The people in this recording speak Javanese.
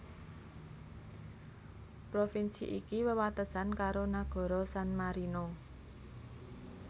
Provinsi iki wewatesan karo nagara San Marino